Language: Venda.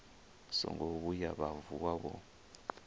songo vhuya vha vuwa vho